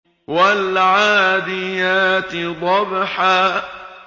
وَالْعَادِيَاتِ ضَبْحًا